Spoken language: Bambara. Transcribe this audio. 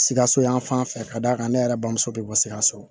Sikaso yan fan fɛ ka d'a kan ne yɛrɛ bamuso bɛ bɔ sikaso